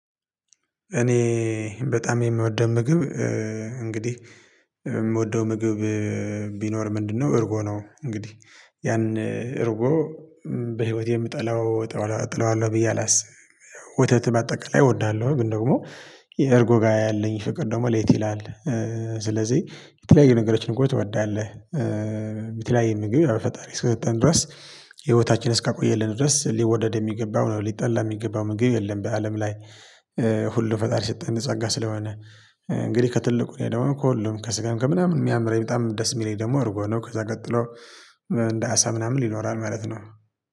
እኔ በጣም የምወደው ምግብ እንግዲህ ምወደው ምግብ ቢኖር ምንድነው እርጎ ነው። እንግዲህ ያን እርጎ በህይወቴ ምጠላው እጠላ እጠላዋለው ብዬ አላስብም ያው ወተት ባጠቃላይ እወዳለሁ ግን ደግሞ የእርጎ ጋር ያለኝ ፍቅር ደግሞ ለየት ይላል ስለዚህ የተለያዩ ነገሮች እኮ ትወዳለህ የተለያየ ምግብ ፈጣሪ እስከሰጠን ድረስ ህይወታችን እስካቆየልን ድረስ ሊወደድ ሚገባው ነው ሊጠላ ሚገባው ምግብ የለም በአለም ላይ ሁሉ ፈጣሪ የሰጠነ ጸጋ ስለሆነ እንግዲህ ከትልቁ እኔ ደግሞ ከሁሉም ከስጋም ከምናምን የሚያምረኝ በጣም ደስ የሚለኝ ደግሞ እርጎ ነው ከዛ ቀጥሎ እንደ አሳ ምናምን ይኖራል ማለት ነው